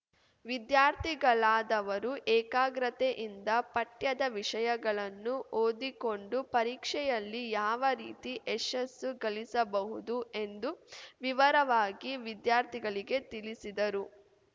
ವಿದ್ಯಾರ್ಥಿಗಳಾದವರು ಏಕಾಗ್ರತೆಯಿಂದ ಪಠ್ಯದ ವಿಷಯಗಳನ್ನು ಓದಿಕೊಂಡು ಪರೀಕ್ಷೆಯಲ್ಲಿ ಯಾವ ರೀತಿ ಯಶಸ್ಸು ಗಳಿಸಬಹುದು ಎಂದು ವಿವರವಾಗಿ ವಿದ್ಯಾರ್ಥಿಗಳಿಗೆ ತಿಳಿಸಿದರು